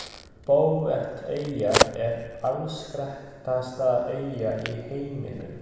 Bouveteyja er afskekktasta eyja í heiminum.